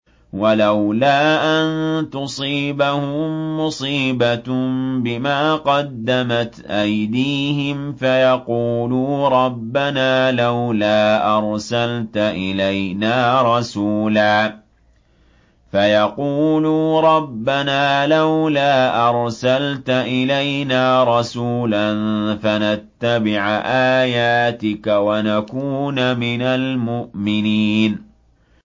وَلَوْلَا أَن تُصِيبَهُم مُّصِيبَةٌ بِمَا قَدَّمَتْ أَيْدِيهِمْ فَيَقُولُوا رَبَّنَا لَوْلَا أَرْسَلْتَ إِلَيْنَا رَسُولًا فَنَتَّبِعَ آيَاتِكَ وَنَكُونَ مِنَ الْمُؤْمِنِينَ